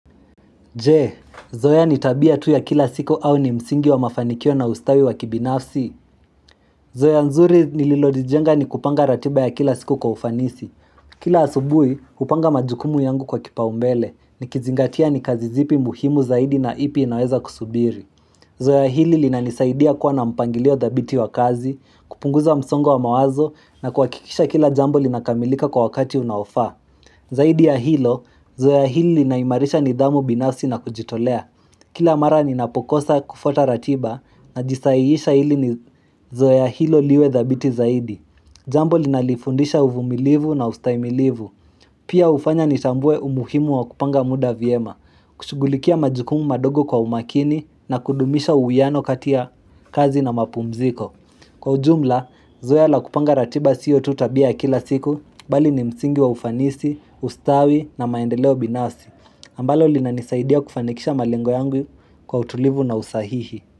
Je, zoe ya ni tabia tu ya kila siku au ni msingi wa mafanikio na ustawi wa kibinafsi? Zoea nzuri nililolijenga ni kupanga ratiba ya kila siku kwa ufanisi. Kila asubuhi, hupanga majukumu yangu kwa kipaumbele, nikizingatia ni kazi zipi muhimu zaidi na ipi inaweza kusubiri. Zoea hili linanisaidia kuwa na mpangilio dhabiti wa kazi, kupunguza msongo wa mawazo na kuhakikisha kila jambo linakamilika kwa wakati unaofaa. Zaidi ya hilo, zoea hili linaimarisha nidhamu binafsi na kujitolea. Kila mara ninapokosa kufuata ratiba najisahihisha hili ni zoea hilo liwe dhabiti zaidi. Jambo linalifundisha uvumilivu na ustahimilivu. Pia ufanya nitambue umuhimu wa kupanga muda vyema, kushugulikia majukumu madogo kwa umakini na kudumisha uwiano kati ya kazi na mapumziko. Kwa ujumla, zoea la kupanga ratiba sio tu tabia ya kila siku bali ni msingi wa ufanisi, ustawi na maendeleo binafsi. Ambalo linanisaidia kufanikisha malengo yangu kwa utulivu na usahihi.